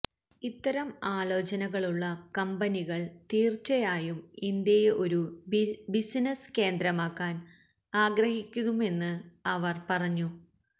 ഇത്തരം ആലോചനകളുള്ള കമ്പനികൾ തീർച്ചയായും ഇന്ത്യയെ ഒരു ബിസിനസ് കേന്ദ്രമാക്കാൻ ആഗ്രഹിക്കുമെന്ന് അവർ പറഞ്ഞു